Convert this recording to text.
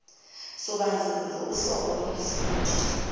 sobandlululo uhlobo lomfundi